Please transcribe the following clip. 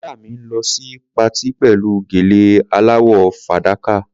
Ìyá mi ń lọ sí patí pẹ̀lú gèlè aláwọ̀ fàdákà.